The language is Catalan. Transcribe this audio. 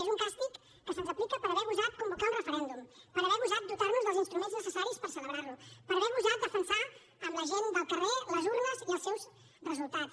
és un càstig que se’ns aplica per haver gosat convocar un referèndum per haver gosat dotar nos dels instruments necessaris per celebrar lo per haver gosat defensar amb la gent del carrer les urnes i els seus resultats